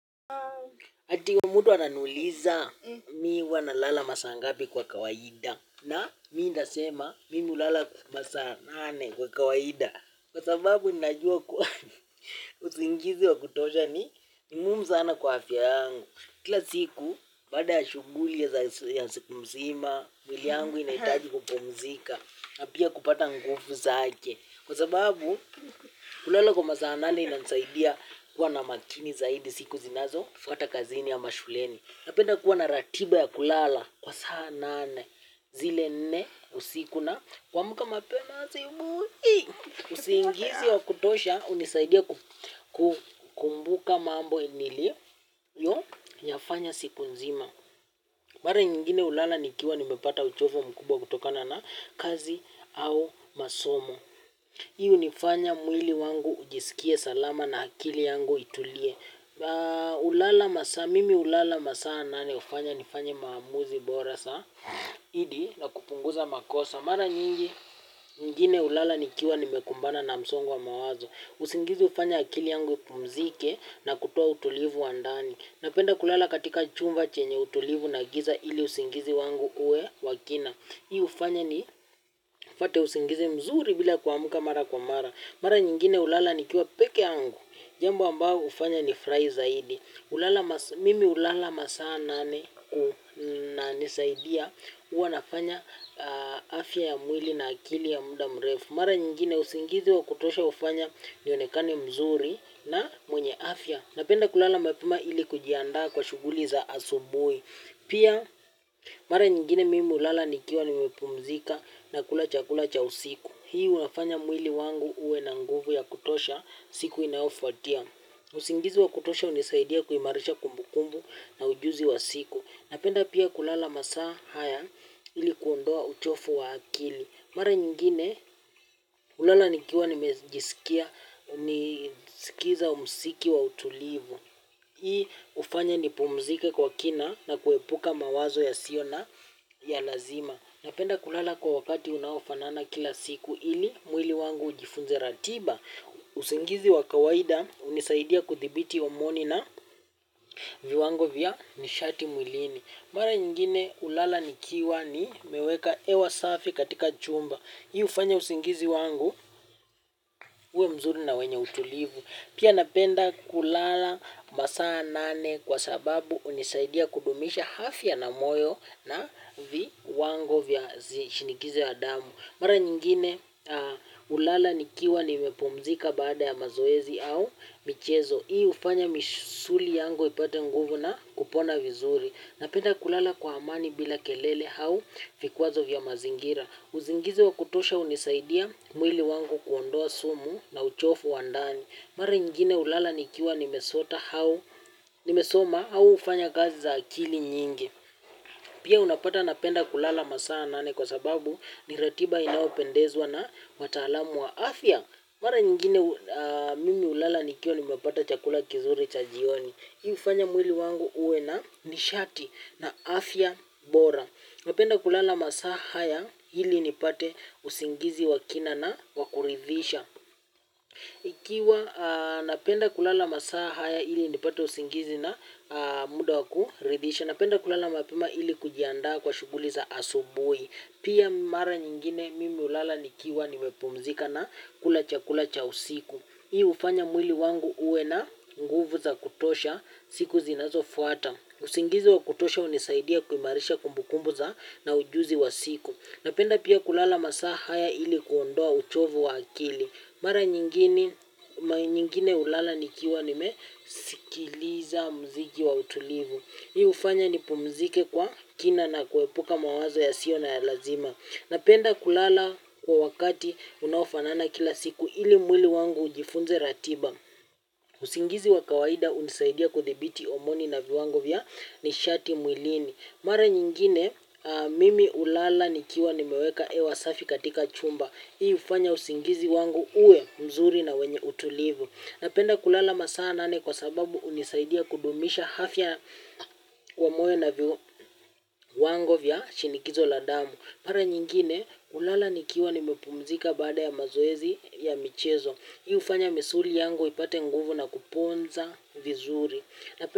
Ati kuna mtu ananiuliza, mi huwa nalala masaa ngapi kwa kawaida, na mi nitasema mimi hulala masaa nane kwa kawaida. Kwa sababu ninajua kuwa usingizi wa kutosha ni muhimu sana kwa afya yangu. Kila siku baada ya shughuli ya siku mzima, mwili yangu inahitaji kupumzika na pia kupata nguvu zake. Kwa sababu, kulala kwa masaa nane inanisaidia kuwa na makini zaidi siku zinazofuata kazini ama shuleni. Napenda kuwa na ratiba ya kulala, kwa saa nane, zile nne usiku na, kuamka mapema asubuhi, usingizi wa kutosha, hunisaidia kukumbuka mambo niliyoyafanya siku nzima. Mara nyingine hulala nikiwa nimepata uchovu mkubwa kutokana na kazi au masomo. Hii hunifanya mwili wangu ujisikie salama na akili yangu itulie. Mimi hulala masaa nane hufanya nifanye maamuzi bora zaidi na kupunguza makosa. Mara nyingine hulala nikiwa nimekumbana na msongo wa mawazo. Usingizi hufanya akili yangu ipumzike na kutoa utulivu wa ndani. Napenda kulala katika chumba chenye utulivu na giza ili usingizi wangu uwe wa kina. Hii hufanya nipate usingizi mzuri bila kuamka mara kwa mara. Mara nyingine hulala nikiwa peke yangu. Jambu ambao hufanya nifurahi zaidi. Mimi hulala masaa nane kunanisaidia huwa nafanya afya ya mwili na akili ya muda mrefu. Mara nyingine usingizi wa kutosha hufanya nionekane mzuri na mwenye afya. Napenda kulala mapema ili kujiandaa kwa shughuli za asubuhi. Pia mara nyingine mimi hulala nikiwa nimepumzika na kula chakula cha usiku. Hii unafanya mwili wangu uwe na nguvu ya kutosha siku inaofuatia. Usingizi wa kutosha hunisaidia kuimarisha kumbukumbu na ujuzi wa siku. Napenda pia kulala masaa haya ili kuondoa uchovu wa akili. Mara nyingine hulala nikiwa nimejisikia nikisikiza muziki wa utulivu. Hii hufanya nipumzike kwa kina na kuepuka mawazo yasio na ya lazima. Napenda kulala kwa wakati unaofanana kila siku ili, mwili wangu ujifunze ratiba. Usingizi wa kawaida, hunisaidia kuthibiti homoni na viwango vya nishati mwilini. Mara nyingine, hulala nikiwa nimeweka hewa safi katika chumba. Hii hufanya usingizi wangu, uwe mzuri na wenye utulivu. Pia napenda kulala masaa nane kwa sababu hunisaidia kudumisha afya na moyo na viwango vya shinikizo ya damu. Mara nyingine hulala nikiwa nimepumzika baada ya mazoezi au michezo. Hii hufanya misuli yangu ipate nguvu na kupona vizuri. Napenda kulala kwa amani bila kelele au vikwazo vya mazingira. Usingizi wa kutosha hunisaidia mwili wangu kuondoa sumu na uchovu wa ndani. Mara ingine hulala nikiwa nimesota au nimesoma au kufanya kazi za akili nyingi. Pia unapata napenda kulala masaa nane kwa sababu ni ratiba inayopendezwa na wataalamu wa afya. Mara nyingine mimi hulala nikiwa nimepata chakula kizuri cha jioni. Hii hufanya mwili wangu uwe na nishati na afya bora. Napenda kulala masaa haya ili nipate usingizi wa kina na wa kuridhisha. Ikiwa napenda kulala masaa haya ili nipate usingizi na muda wa kuridhisha. Napenda kulala mapema ili kujiandaa kwa shughuli za asubuhi. Pia mara nyingine mimi hulala nikiwa nimepumzika na kula chakula cha usiku. Hii hufanya mwili wangu uwe na nguvu za kutosha siku zinazofuata. Usingizi wa kutosha hunisaidia kuimarisha kumbukumbu za na ujuzi wa siku. Napenda pia kulala masaa haya ili kuondoa uchovu wa akili. Mara nyingine hulala nikiwa nimesikiliza muziki wa utulivu. Hii hufanya nipumzike kwa kina na kuepuka mawazo yasio na ya lazima. Napenda kulala kwa wakati unaofanana kila siku ili mwili wangu ujifunze ratiba. Usingizi wa kawaida hunisaidia kudhibiti homoni na viwango vya nishati mwilini. Mara nyingine mimi hulala nikiwa nimeweka hewa safi katika chumba. Hii hufanya usingizi wangu uwe mzuri na wenye utulivu. Napenda kulala masaa nane kwa sababu hunisaidia kudumisha afya wa moyo na viwango vya shinikizo la damu. Mara nyingine, hulala nikiwa nimepumzika baada ya mazoezi ya michezo. Hii hufanya misuli yangu ipate nguvu na kuponza vizuri.